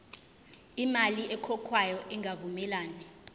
imali ekhokhwayo ingavumelani